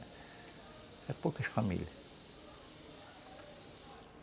Eram poucas famílias.